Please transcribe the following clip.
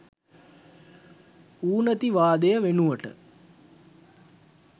ඌනිතවාදය වෙනුවට